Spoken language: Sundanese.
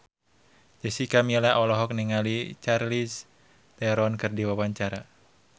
Jessica Milla olohok ningali Charlize Theron keur diwawancara